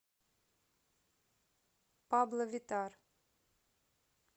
пабло виттар